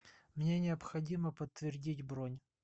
мне необходимо подтвердить бронь